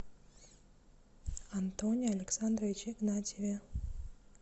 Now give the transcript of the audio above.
антоне александровиче игнатьеве